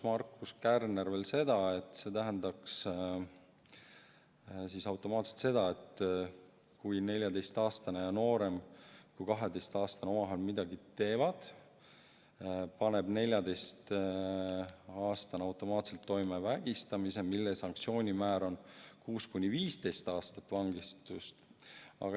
Markus Kärner lausus veel seda, et see tähendaks automaatselt seda, et kui 14-aastane ja noorem kui 12-aastane omavahel midagi teevad, siis paneb 14-aastane automaatselt toime vägistamise, mille sanktsioonimäär on 6–15 aastat vangistust.